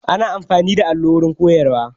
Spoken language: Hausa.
Ana amfani da allo wurin koyarwa